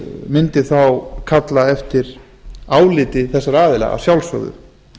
mundi þá kalla eftir áliti þeirra aðila að sjálfsögðu